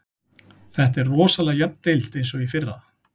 Þetta er rosalega jöfn deild eins og í fyrra.